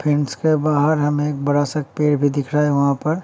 Fence के बाहर हमें एक बड़ा सा पेड़ भी दिख रहा है वहाँ पर।